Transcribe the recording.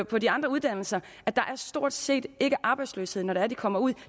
på de andre uddannelser at der stort set ikke er arbejdsløshed når det er de kommer ud